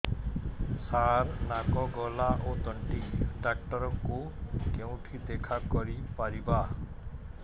ସାର ନାକ ଗଳା ଓ ତଣ୍ଟି ଡକ୍ଟର ଙ୍କୁ କେଉଁଠି ଦେଖା କରିପାରିବା